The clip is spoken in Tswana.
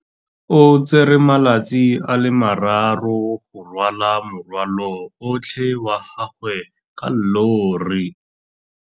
O tsere malatsi a le marraro go rwala morwalo otlhe wa gagwe ka llori.